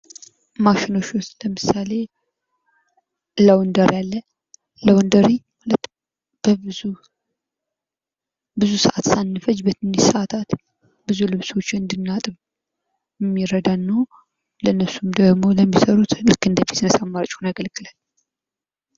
ማሺኖች ውስጥ ለምሳሌ ላውንደሪ አለ። ላውንደሪ ለብዙ ብዙ ሰዓት ሳንፈጅ ትንሽ ሰዓታት ብዙ ልብሶችን እንድናጠብ እሚረዳን ነው። ለእነርሱም ደግሞ ለሚሰሩት እንደ ቢዝነስ አማራጭ ሆኖ ያገለግላለሁ።